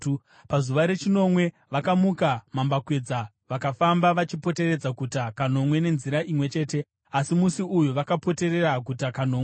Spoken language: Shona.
Pazuva rechinomwe, vakamuka mambakwedza vakafamba vachipoteredza guta kanomwe nenzira imwe chete, asi musi uyu vakapoterera guta kanomwe.